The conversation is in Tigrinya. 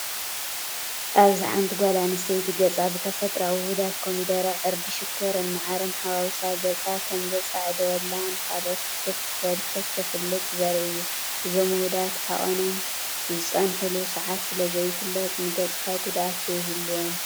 ኣብዚ ሓንቲ ጓል ኣነስተይቲ ገፃ ብተፈጥራኣዊ ውሁዳት ኮሚደረ፣ ዕርዲ፣ ሽኮርን ማዓርን ሓዋዊሳ ገፃ ከምዘፃዕደወላን ንኻልኦት እንትተፋለጥን ዘርኢ እዩ፡፡ እዞም ውሁዳት ዓቐኖምን ዝፀንሕሉ ሰዓትን ስለዘይፍለጥ ንገፅካ ጉድኣት ዶ ይህልዎም ትብሉ?